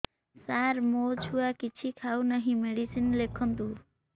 ସାର ମୋ ଛୁଆ କିଛି ଖାଉ ନାହିଁ ମେଡିସିନ ଲେଖନ୍ତୁ